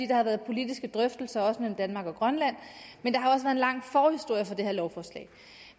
der har været politiske drøftelser mellem danmark og grønland at en lang forhistorie for det her lovforslag